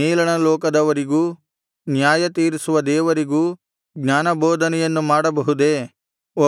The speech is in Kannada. ಮೇಲಣ ಲೋಕದವರಿಗೂ ನ್ಯಾಯತೀರಿಸುವ ದೇವರಿಗೂ ಜ್ಞಾನಬೋಧನೆಯನ್ನು ಮಾಡಬಹುದೇ